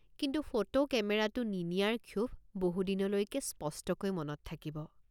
কিন্তু ফটো কেমেৰাটে৷ নিনিয়াৰ ক্ষোভ বহু দিনলৈকে স্পষ্টকৈ মনত থাকিব।